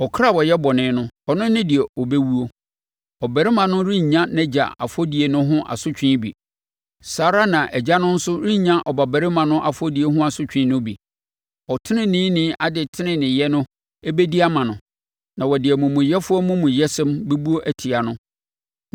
Ɔkra a ɔyɛ bɔne no, ɔno ne deɛ ɔbɛwuo. Ɔbabarima no rennya nʼagya afɔdie no ho asotwe bi, saa ara na agya no nso rennya ɔbabarima no afɔdie ho asotwe no bi. Ɔteneneeni adeteneneeyɛ no bɛdi ama no, na wɔde omumuyɛfoɔ amumuyɛsɛm bɛbu atia no.